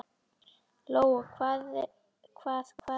Lóa: Hvað, hvað gerðist?